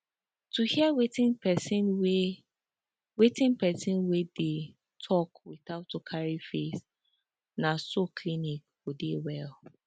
to hear wetin person wey wetin person wey dey talk without to carry face na so clinic go dey well